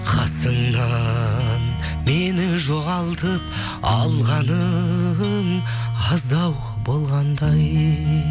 қасыңнан мені жоғалтып алғаның аздау болғандай